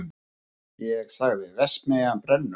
Ég sagði: verksmiðjan brennur!